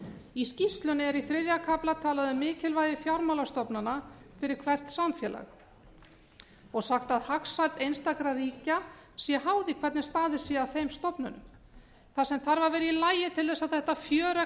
í skýrslunni er í þriðja kafla talað um mikilvægi fjármálastofnana fyrir hvert samfélag og sagt að hagsæld einstakra ríkja sé háð því hvernig staðið sé að þeim stofnunum það sem þarf að vera í lagi til að þetta fjöregg